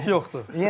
Limit yoxdur.